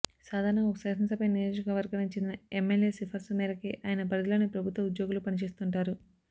సాధారణంగా ఒక శాసనసభా నియోజకవర్గానికి చెందిన ఎమ్మెల్యే సిఫార్సు మేరకే ఆయన పరిధిలోని ప్రభుత్వ ఉద్యోగులు పని చేస్తుంటారు